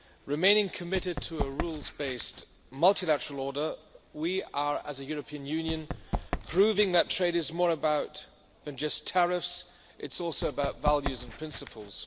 Remaining committed to a rules based multilateral order, we are as a European Union proving that trade is about more than just tariffs it is also about values and principles.